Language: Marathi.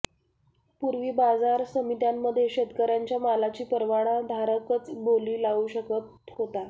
पूर्वी बाजारसमित्यांमध्ये शेतकर्यांच्या मालाची परवानाधारकच बोली लावू शकत होता